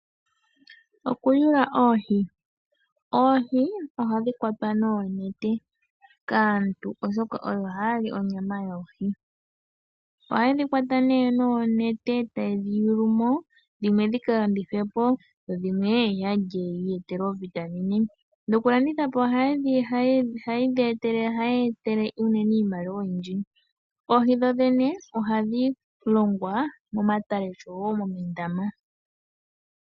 Okuyula oohi. Oohi ohadhi kwatwa noonete kaantu, oshoka oyo haya li onyama yoohi. Ohaye dhi kwata nee noonete taye dhi yulu mo dhimwe ldhi ka landithwe po, dho dhimwe ya lye yi iyetele oovitamine. Dhokulanditha po ohadhi ya etele unene iimaliwa oyindji. Oohi dho dhene ohadhi longwa momatale noshowo moondama.